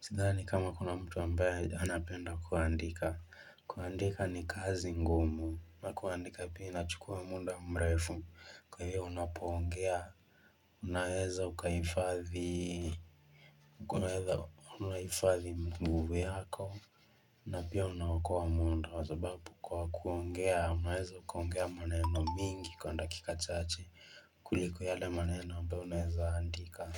Sidhani kama kuna mtu ambaye anapenda kuandika. Kuandika ni kazi ngumu na kuandika pia inachukua muda mrefu. Kwa hivyo unapoongea Unaweza ukahifadhi nguvu yako, na pia unaokoa muda kwa sababu kwa kuongea, unaweza kuongea maneno mingi kwa dakika chache. Kuliko yale maneno ambayo unaweza andika.